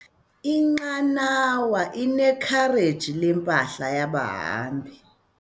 Inqanawa inekhareji lempahla yabahambi.